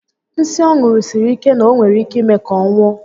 Nsí ọ ṅụru siri ike na o nwere ike ime ka ọ nwụọ